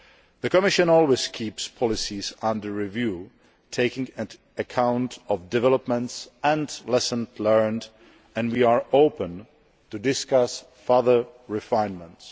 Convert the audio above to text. The Commission always keeps policies under review, taking account of developments and lessons learned, and we are open to discussing further refinements.